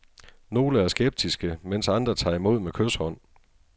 Nogle er skeptiske, mens andre tager imod med kyshånd.